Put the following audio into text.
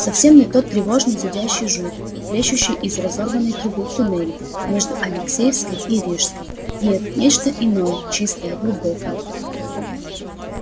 совсем не тот тревожный зудящий шум плещущий из разорванной трубы в туннеле между алексеевской и рижской нет нечто иное чистое глубокое